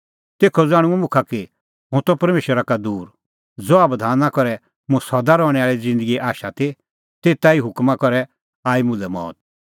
तेखअ ज़ाण्हूंअ मुखा कि हुंह त परमेशरा का दूर ज़हा बधाना करै मुंह सदा रहणैं आल़ी ज़िन्दगीए आशा ती तेते ई हुकमा करै आई मुल्है मौत